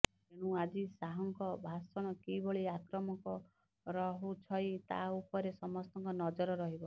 ତେଣୁ ଆଜି ଶାହଙ୍କ ଭାଷଣ କିଭଳି ଆକ୍ରାମକ ରହୁଛଇ ତା ଉପରେ ସମସ୍ତଙ୍କ ନଜର ରହିବ